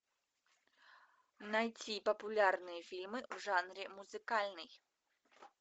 найти популярные фильмы в жанре музыкальный